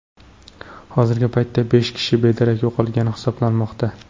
Hozirgi paytda besh kishi bedarak yo‘qolgan hisoblanmoqda.